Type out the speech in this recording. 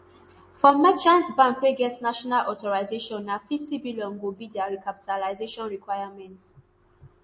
for merchant bank wey get national authorisation na nfifty billion go be dia recapitalisation requirement